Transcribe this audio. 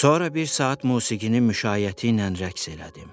Sonra bir saat musiqinin müşayiəti ilə rəqs elədim.